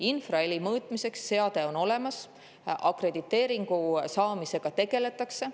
Infraheli mõõtmiseks on seade olemas, akrediteeringu saamisega tegeletakse.